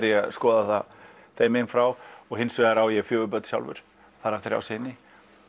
ég að skoða það þeim meginn frá og hins vegar á ég fjögur börn sjálfur þar af þrjá syni